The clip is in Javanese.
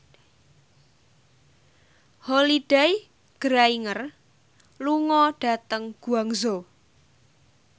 Holliday Grainger lunga dhateng Guangzhou